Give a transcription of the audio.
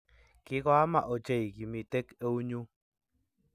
kigoamaa ochei kimitek eunyu